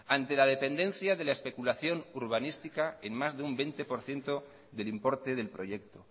ante la dependencia de la especulación urbanística en más de un veinte por ciento del importe del proyecto